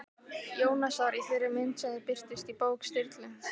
Jónasar í þeirri mynd sem þau birtust í bók Sturlu?